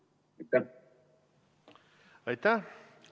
Aitäh!